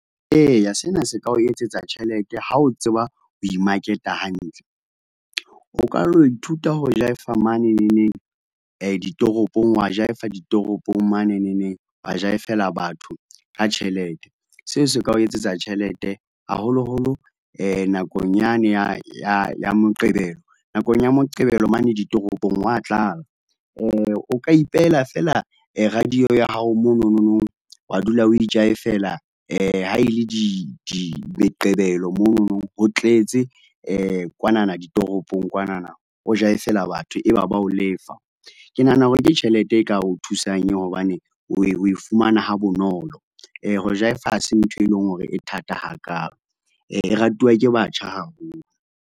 E ya, sena se ka o etsetsa tjhelete ha o tseba ho imaketa hantle. O ka lo ithuta ho jaefa maneneneng ditoropong wa jaefela, ditoropong maneneneng wa jaefela batho ka tjhelete. Seo se ka o etsetsa tjhelete, haholoholo nakong yane ya ya ya Moqebelo, nakong ya Moqebelo mane ditoropong ho wa tlala. O ka ipehela fela radio ya hao mononono, wa dula o jaifela ha e le di di meqebelo monono ho tletse, kwanana ditoropong kwanana, o jaefela batho e ba ba o lefa. Ke nahana hore ke tjhelete e ka ho thusang eo hobane o e, o e fumana ha bonolo. Ho jaefa ha se ntho e leng hore e thata ha kalo, e ratuwa ke batjha haholo.